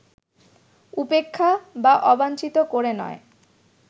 উপেক্ষা বা অবাঞ্ছিত করে নয়